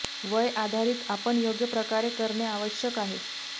वय आधारीत आपण योग्य प्रकारे करणे आवश्यक आहे